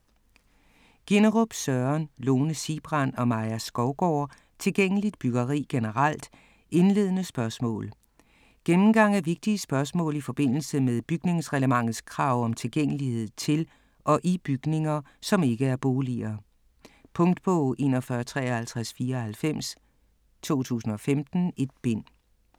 Ginnerup, Søren, Lone Sigbrand og Maja Skovgaard: Tilgængeligt byggeri generelt - indledende spørgsmål Gennemgang af vigtige spørgsmål i forbindelse med bygningsreglementets krav om tilgængelighed til og i bygninger, som ikke er boliger. Punktbog 415394 2015. 1 bind.